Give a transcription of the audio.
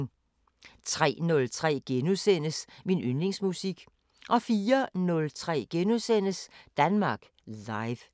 03:03: Min yndlingsmusik * 04:03: Danmark Live *